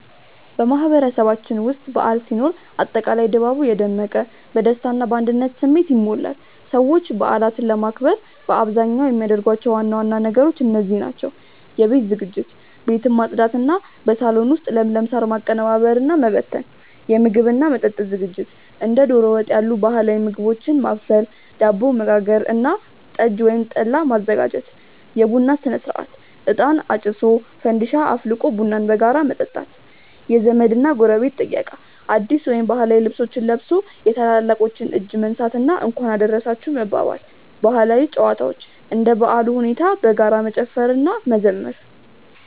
በማህበረሰባችን ውስጥ በዓል ሲኖር አጠቃላይ ድባቡ የደመቀ፣ በደስታ እና በአንድነት ስሜት ይሞላል። ሰዎች በዓላትን ለማክበር በአብዛኛው የሚያደርጓቸው ዋና ዋና ነገሮች እንደዚህ ናቸው፦ የቤት ዝግጅት፦ ቤትን ማጽዳት እና በሳሎን ውስጥ ለምለም ሳር ማቀነባበርና ጠንቀቀ መበተን። የምግብ እና መጠጥ ዝግጅት፦ ዶሮ ወጥ ያሉ ባህላዊ ምግቦችን ማብሰል፣ ዳቦ መጋገር እና ጠላ ወይም ጠጅ ማዘጋጀት። የቡና ሥነ-ሥርዓት፦ እጣን አጭሶ፣ ፋንዲሻ አፍልቆ ቡናን በጋራ መጠጣት። የዘመድ እና ጎረቤት ጥየቃ፦ አዲስ ወይም ባህላዊ ልብስ ለብሶ የታላላቆችን እጅ መንሳት እና "እንኳን አደረሳችሁ" መባባል። ባህላዊ ጨዋታዎች፦ እንደ በዓሉ ሁኔታ በጋራ መጨፈር እና መዘመር።